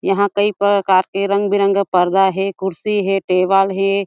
यहाँ कई प्रकार के रंग बिरंगे पर्दा हे कुर्सी हे टेबल हे।